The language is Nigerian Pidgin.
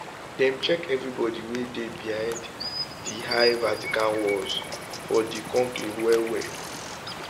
dem check evri body wey dey behind di high vatican walls for di conclave wellwell